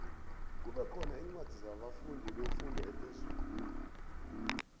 kube khona incwadi zabafundi befundo ephezulu